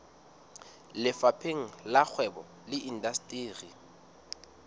lefapheng la kgwebo le indasteri